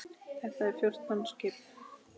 Þetta eru fjórtán skip.